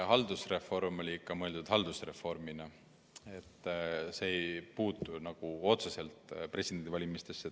Haldusreform oli ikka mõeldud haldusreformina, see ei puutu otseselt presidendivalimistesse.